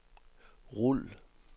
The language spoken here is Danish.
rul